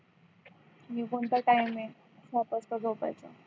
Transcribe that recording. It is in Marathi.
ही कोणता time आहे सात वाजता झोपायचा